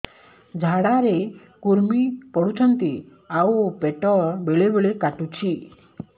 ଝାଡା ରେ କୁର୍ମି ପଡୁଛନ୍ତି ଆଉ ପେଟ ବେଳେ ବେଳେ କାଟୁଛି